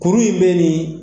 Kurun in bɛ nin